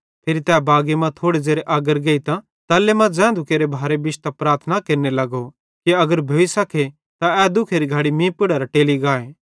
फिरी तै बागी मां थोड़ो ज़ेरे अग्गर गेइतां तल्ले मां ज़ैन्धू केरे भारे बिश्तां प्रार्थना केरने लगो कि अगर भोइ सके त ए दुख्खेरी घड़ी मीं पुड़ेरां टेली गाए